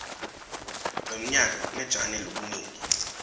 lomnyaka kmetjani lobunigi